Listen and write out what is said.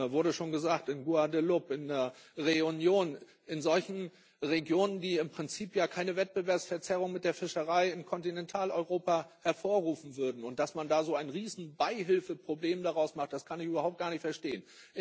Es wurde schon gesagt in Guadeloupe, in Réunion, in solchen Regionen, die im Prinzip ja keine Wettbewerbsverzerrung mit der Fischerei in Kontinentaleuropa hervorrufen würden, und dass man so ein Riesenbeihilfeproblem daraus macht, das kann ich überhaupt gar nicht verstehen.